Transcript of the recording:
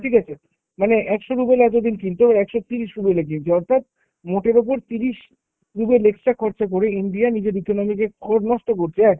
ঠিক আছে? মানে একশো ruble এ এতদিন কিনতো, এবার একশো তিরিশ Ruble এ কিনছে। অর্থাৎ, মোটের উপর তিরিশ ruble extra খরচা করে India নিজের economy কে নষ্ট করছে।